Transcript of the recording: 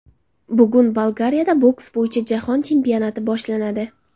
Bugun Bolgariyada boks bo‘yicha jahon chempionati boshlanadi.